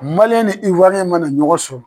ni ma na ɲɔgɔn sɔrɔ.